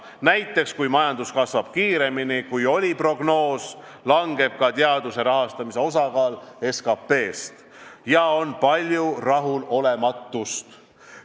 Näiteks, kui majandus kasvab kiiremini, kui oli nähtud ette prognoosis, langeb ka teaduse rahastamise osakaal SKP-s ja on palju rahulolematust.